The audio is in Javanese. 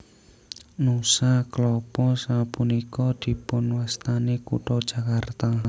Nusa Klapa sapunika dipunwastani kutha Jakarta